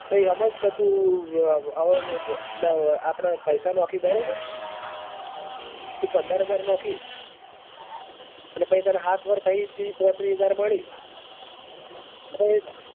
હમજ કે તું આપડે પૈસા નોખે બરાબર તું પંદર હજાર નોખી. અન પછી તન સાત વર્ષ પછી તીસ પોત્રીસ હજાર મળી.